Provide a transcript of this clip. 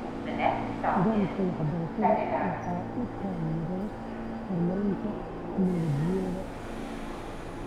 Nidaamka waxbarashada waxa uu taageeraa horumarinta tignoolajiyada.